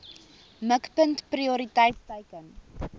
mikpunt prioriteit teiken